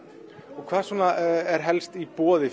og hvað er helst í boði